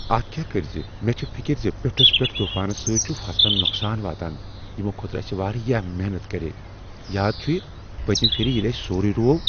اتھ کیاہ کرٕ زِ مےٚ چھےٚ فکر زِ پیوٚٹھُس پیٹھ طوفانو سۭتۍ چھُ فصلن نقصان واتان یمو خٲطرٕ اسہ واریاہ محنت کرییہ۔ یاد چھیہ پٔتۍمہ پھر ییٚلہ اسہ سورُے روو؟